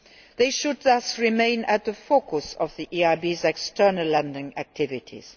They should thus remain at the focus of the EIB's external lending activities.